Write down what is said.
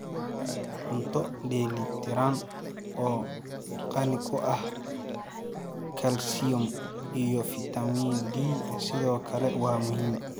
Cunto dheeli tiran oo qani ku ah kalsiyum iyo fiitamiin D sidoo kale waa muhiim.